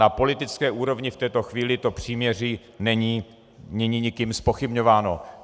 Na politické úrovni v této chvíli to příměří není nikým zpochybňováno.